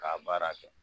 K'a baara kɛ